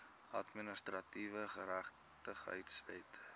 administratiewe geregtigheid wet